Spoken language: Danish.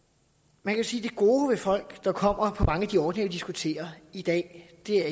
man kan sige at det gode ved folk der kommer på mange af de ordninger vi diskuterer i dag